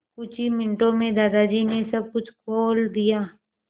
कुछ ही मिनटों में दादाजी ने सब कुछ खोल दिया